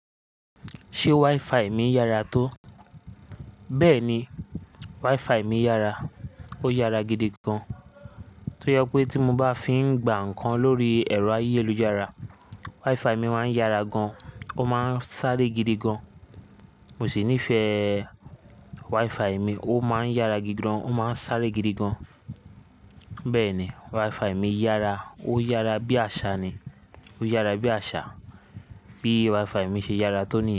Ṣé WiFi mi yára tó? Bẹ́ẹ̀ni, WiFi mi yára. Ó yára gidi gan. Tó yẹ pé tí mo bá fi ń gba nǹkan lórí ẹ̀rọ ayélujára, WiFi mi máa ń yára gan, ó máa ń sáré gidi gan. Mo sì nífẹ̀ẹ́ WiFi mi, ó máa ń yára gidi gan, ó máa ń sáré gidi gan. Bẹ́ẹ̀ni, WiFi mi yára, ó yára bí àsá ni. Ó yára bí àsá. Bí WiFi mi ṣe yára tó níyà.